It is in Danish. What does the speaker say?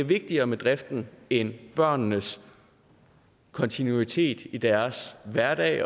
vigtigere med driften end børnenes kontinuitet i deres hverdag